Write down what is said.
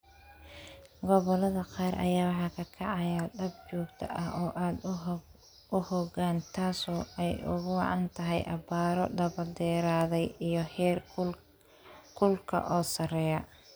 Gobollada qaar ayaa waxaa ka kacaya dab joogto ah oo aad u xooggan taasoo ay ugu wacan tahay abaaro daba dheeraaday iyo heer kulka oo sarreeya.